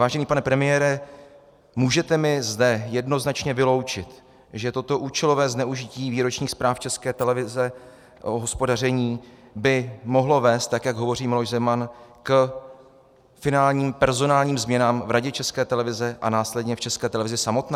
Vážený pane premiére, můžete mi zde jednoznačně vyloučit, že toto účelové zneužití výročních zpráv České televize o hospodaření by mohlo vést, tak jak hovoří Miloš Zeman, k finálním personálním změnám v Radě České televize a následně v České televizi samotné?